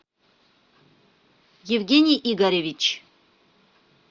евгений игоревич